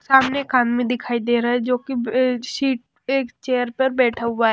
सामने एक आदमी दिखाई दे रहा है जोकि अ सीट अ एक चेयर पर बैठा हुआ--